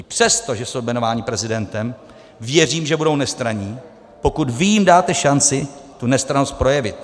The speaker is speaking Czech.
I přesto, že jsou jmenováni prezidentem, věřím, že budou nestranní, pokud vy jim dáte šanci tu nestrannost projevit.